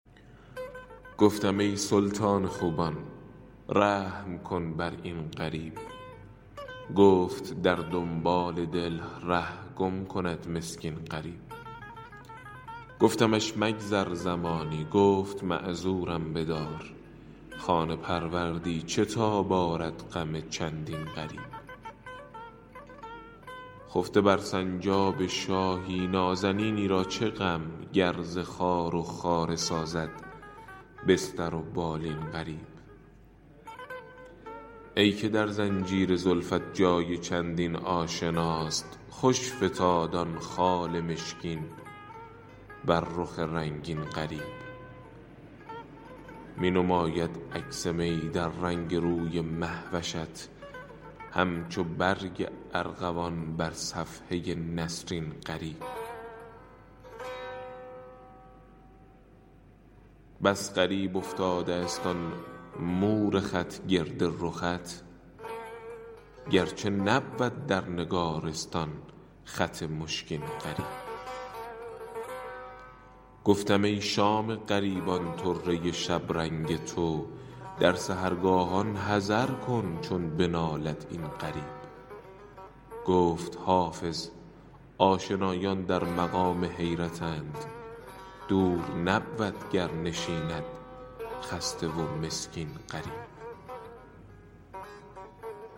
گفتم ای سلطان خوبان رحم کن بر این غریب گفت در دنبال دل ره گم کند مسکین غریب گفتمش مگذر زمانی گفت معذورم بدار خانه پروردی چه تاب آرد غم چندین غریب خفته بر سنجاب شاهی نازنینی را چه غم گر ز خار و خاره سازد بستر و بالین غریب ای که در زنجیر زلفت جای چندین آشناست خوش فتاد آن خال مشکین بر رخ رنگین غریب می نماید عکس می در رنگ روی مه وشت همچو برگ ارغوان بر صفحه نسرین غریب بس غریب افتاده است آن مور خط گرد رخت گرچه نبود در نگارستان خط مشکین غریب گفتم ای شام غریبان طره شبرنگ تو در سحرگاهان حذر کن چون بنالد این غریب گفت حافظ آشنایان در مقام حیرتند دور نبود گر نشیند خسته و مسکین غریب